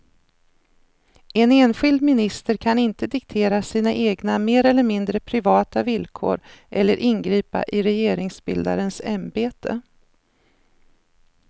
En enskild minister kan inte diktera sina egna mer eller mindre privata villkor eller ingripa i regeringsbildarens ämbete.